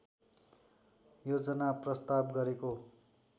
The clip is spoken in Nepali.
योजना प्रस्ताव गरेको